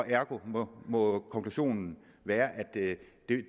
ergo må konklusionen være at det